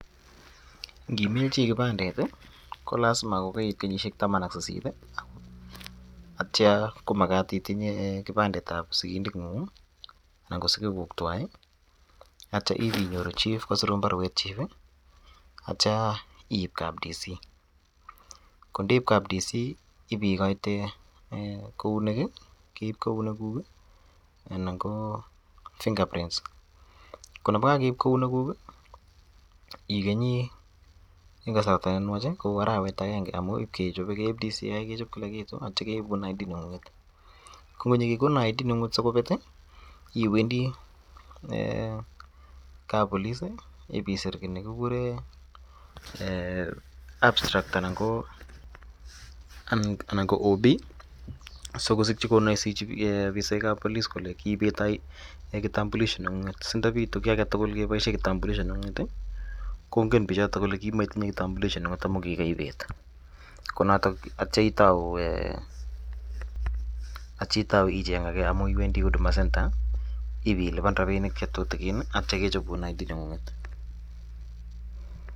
ngiimil chii kibandet iih kolasima kogoit kenyishek taman ak sisit iih ak tyoo komagat itinye kipandet ab sigindet nguung iih anan ko sigiguuk twaai iih , otyoo ibenyoru chief kosiruun barweet chief iih oot yoo iib kap district comissioner kondeib kap district comissioner ibigoitee kouneek iih kouneek guuk iih anan koo fingure prints konebo kageib kouneek guuk iih igenyii en kasarta nenwaach kouu arawet agenge omuun ibkechobe keib directorate criminal investigation keib kila gitu atyoo keibuun aany kiit nengunget konyogegonin identification card nengunget sikobeet iih iwenddii eeh kappolis iih ibisiir kiit negigureen um eeh um abstract anan koo occurence book sigosirchi konoisechi obisaek ab polis kole kiibeet kitambulisho nengunget sindobitu kii agetugul keboishen kitambulisho nengunget iih kongen bichoton kole kimotinye inok omun kingoibeet konoton atyoo itouu um icheng agee omun iwendii huduma center ibiluban rabinik chetutugin iih aktyo kechobuun identification card nengunget